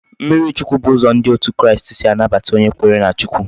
Mmiri chukwu bu uzo ndi out kristi si anabata onye kwere na Chukwu